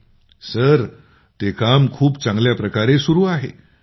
मंजूर जी ते काम खूप चांगल्या प्रकारे चालू आहे